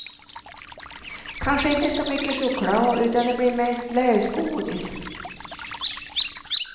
Kanske inte så mycket choklad utan det blir mest lösgodis.